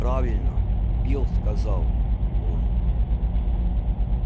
правильно билл сказал он